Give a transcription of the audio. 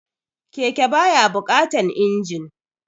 Keke ba ya buƙatan injin